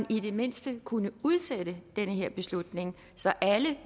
i det mindste kunne udsætte den her beslutning så alle